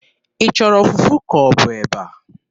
Ị chọrọ fufu ka ọ bụ eba?